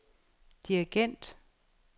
dirigent